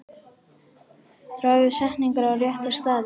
Dragðu setningar á rétta staði.